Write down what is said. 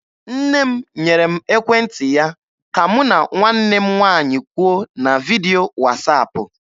Nne m nyere m ekwentị ya ka mụ na nwanne m nwaanyị kwuo na vidio wasaapụ.